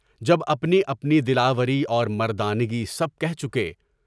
جب اپنی اپنی دلاوری اور مردانگی سب کہہ چکے۔